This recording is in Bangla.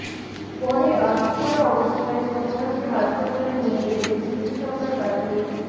পরে আধপোড়া অবস্থায় সন্ধ্যাকে হাসপাতালে নিয়ে গেলে চিকিৎসকরা তাকে